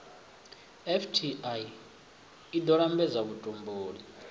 fti i ḓo lambedza vhutumbuli